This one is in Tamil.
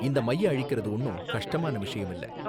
இந்த மைய அழிக்கறது ஒன்னும் கஷ்டமான விஷயம் இல்ல